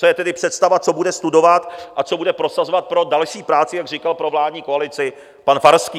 Co je tedy představa, co bude studovat a co bude prosazovat pro další práci, jak říkal, pro vládní koalici pan Farský.